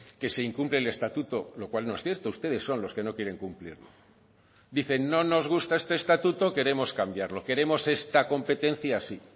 que se incumple el estatuto lo cual no es cierto ustedes son los que no quieren cumplirlo dicen no nos gusta este estatuto queremos cambiarlo queremos esta competencia así